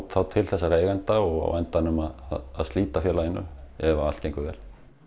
þá til þessara eigenda og á endanum að slíta félaginu ef allt gengur vel